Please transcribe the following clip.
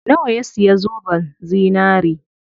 Nawa ya siya zoben zinari?